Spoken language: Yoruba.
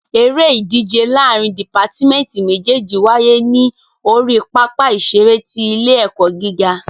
Eré ìdíje láàrín dìpátmẹ́tì méjèjì wáyé ní orí pápá ìṣeré ti ilé ẹ̀kọ́ gíga.